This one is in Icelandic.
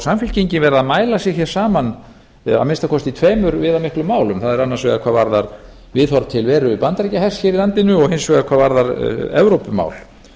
samfylkingin verið að mæla sig hér saman að minnsta kosti í tveimur viðamiklum málum það er annars vegar hvað varðar viðhorf til veru bandaríkjahers hér í landinu og hins vegar hvað varðar evrópumál